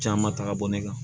Caman ta ka bɔ ne kan